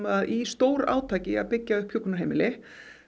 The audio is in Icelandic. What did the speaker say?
í stórátaki við að byggja upp hjúkrunarheimili